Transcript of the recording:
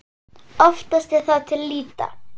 Oftast er það til lýta.